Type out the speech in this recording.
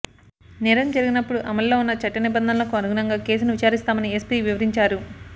నేరం జరిగినప్పుడు అమల్లో ఉన్న చట్ట నిబంధనలకు అనుగుణంగా కేసును విచారిస్తామని ఎస్పీ వివరించారు